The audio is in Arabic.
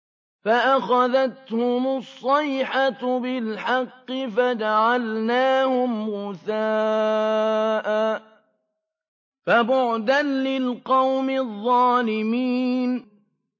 فَأَخَذَتْهُمُ الصَّيْحَةُ بِالْحَقِّ فَجَعَلْنَاهُمْ غُثَاءً ۚ فَبُعْدًا لِّلْقَوْمِ الظَّالِمِينَ